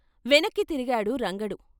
వెనక్కి తిరిగాడు రంగడు.